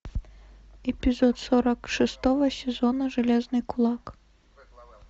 эпизод сорок шестого сезона железный кулак